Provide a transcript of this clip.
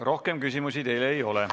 Rohkem küsimusi teile ei ole.